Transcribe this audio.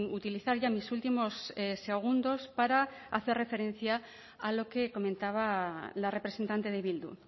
utilizar ya mis últimos segundos para hacer referencia a lo que comentaba la representante de bildu